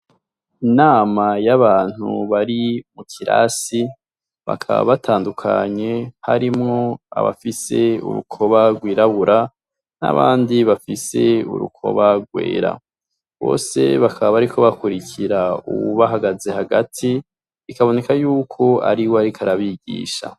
Inama yabantu bari mu kirasi bakaba batadukanye harimwo abafise urukoba rw'irabura nabandi bafise urukoba rwera, bose bakaba bariko bakwirikira uwu bahagaze hagati, bikaboneka yuko ariwe ariko arabigisha.